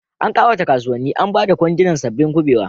An kawata kasuwannin Aba da kwandunan sabbin kubewa.